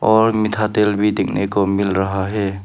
और मीठा तेल भी देखने को मिल रहा है।